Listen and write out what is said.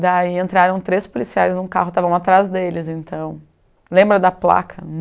Daí entraram três policiais num carro, estávamos atrás deles, então... Lembra da placa?